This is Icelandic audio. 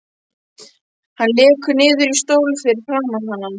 Hann lekur niður í stól fyrir framan hana.